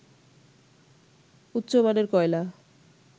উচ্চ মানের কয়লা